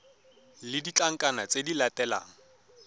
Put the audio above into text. le ditlankana tse di latelang